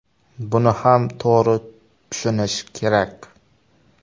Buni ham to‘g‘ri tushunish kerak.